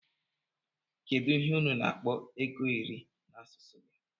kedu ihe unu na akpọ ego iri na asụsụ gi?